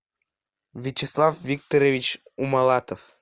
вячеслав викторович умалатов